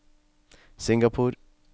Singapore